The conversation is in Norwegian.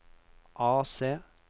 AC